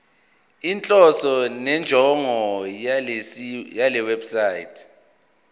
inhloso nenjongo yalewebsite